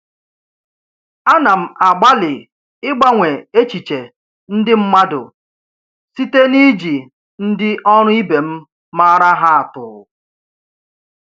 Ana m agbalị ịgbanwe echiche ndị mmadụ site niji ndi oru ibem maara ha atu.